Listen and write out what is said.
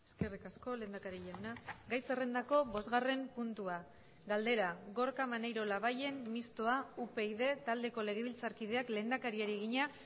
eskerrik asko lehendakari jauna gai zerrendako bosgarren puntua galdera gorka maneiro labayen mistoa upyd taldeko legebiltzarkideak lehendakariari egina